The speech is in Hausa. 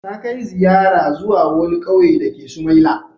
Ta kai ziyara zuwa wani ƙauye dake Sumaila.